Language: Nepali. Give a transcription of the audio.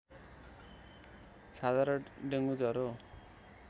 साधारण डेङ्गु ज्वरो